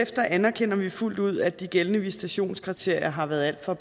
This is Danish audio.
anerkender vi fuldt ud at de gældende visitationskriterier har været alt for